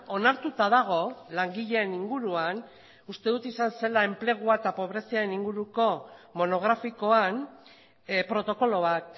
onartuta dago langileen inguruan uste dut izan zela enplegua eta pobreziaren inguruko monografikoan protokolo bat